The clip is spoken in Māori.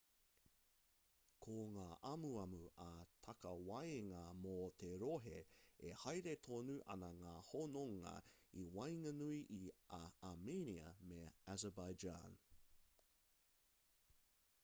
ko ngā amuamu ā-takawaenga mō te rohe e haere tonu ana ngā hononga i waenganui i a armenia me azerbaijan